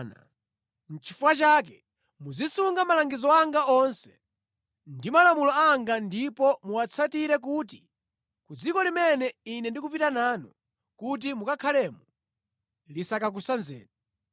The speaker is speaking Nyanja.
“ ‘Nʼchifukwa chake muzisunga malangizo anga onse ndi malamulo anga ndipo muwatsatire kuti ku dziko limene Ine ndikupita nanu kuti mukakhalemo lisakakusanzeni.